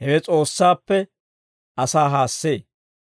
hewe S'oossaappe asaa haassee.